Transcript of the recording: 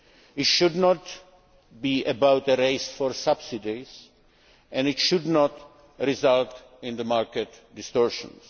It should not be about a race for subsidies, and it should not result in market distortions.